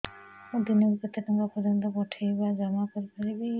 ମୁ ଦିନକୁ କେତେ ଟଙ୍କା ପର୍ଯ୍ୟନ୍ତ ପଠେଇ ବା ଜମା କରି ପାରିବି